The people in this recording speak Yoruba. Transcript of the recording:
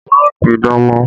Má pidán mọ́!